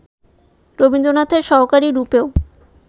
রবীন্দ্রনাথের সহকারী রূপেও